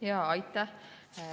Aitäh!